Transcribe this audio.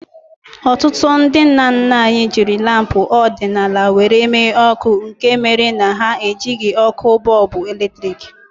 Ọtụtụ ndị nna nna anyị jiri lampu ọdịnala were mee ọkụ nke mere na ha ejighi ọkụ bọlbụ eletrik